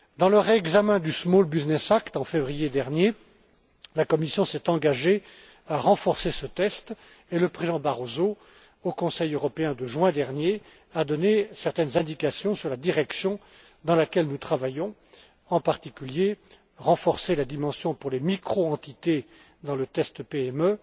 Lors du réexamen du Small Business Act en février dernier, la Commission s'est engagée à renforcer ce test et le Président Barroso, au Conseil européen de juin dernier, a donné certaines indications sur la direction dans laquelle nous travaillons, notamment en vue de renforcer la dimension pour les microentités dans le test PME.